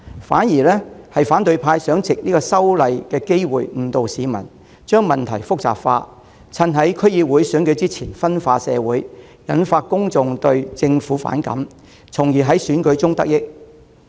反而，反對派想藉這次修例的機會誤導市民，將問題複雜化，在區議會選舉前夕分化社會，挑起公眾對政府的反感，從而在選舉中得益。